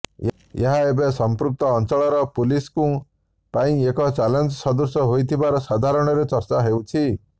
ଏହା ଏବେ ସଂପୃକ୍ତ ଅଂଚଳର ପୁଲିସ୍ଙ୍କ ପାଇଁ ଏକ ଚ୍ୟାଲେଞ୍ଜ ସଦୃଶ ହୋଇଥିବାର ସାଧାରଣରେ ଚର୍ଚ୍ଚା ହେଉଛି